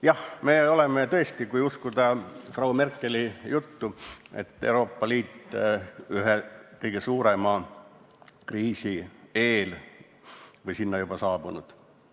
Jah, kui uskuda Frau Merkeli juttu, meie oleme ja Euroopa Liit on ühe kõige suurema kriisi eel või see on juba saabunud.